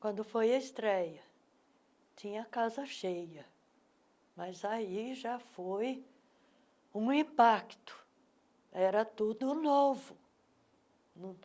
Quando foi a estreia, tinha a casa cheia, mas aí já foi um impacto, era tudo novo.